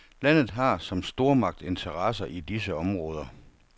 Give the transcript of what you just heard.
Landet har som stormagt interesser i disse områder.